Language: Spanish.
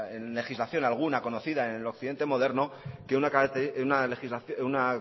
legislación alguna conocida en el occidente moderno que una